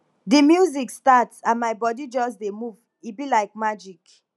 di music start and my body just dey move e be like magic